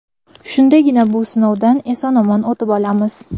Shundagina bu sinovdan eson-omon o‘tib olamiz.